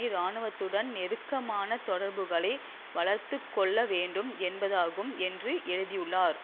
இராணுவத்துடன் நெருக்கமான தொடர்புகளை வளர்த்து கொள்ளவேண்டும் என்பதாகும் என்று எழுதியுளார்